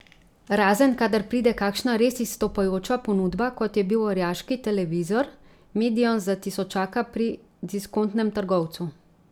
Razen, kadar pride kakšna res izstopajoča ponudba, kot je bil orjaški televizor medion za tisočaka pri diskontnem trgovcu.